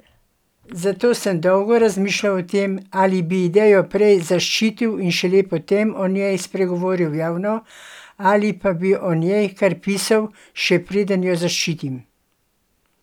Zato sem dolgo razmišljal o tem, ali bi idejo prej zaščitil in šele potem o njej spregovoril javno ali pa bi o njej kar pisal, še preden jo zaščitim.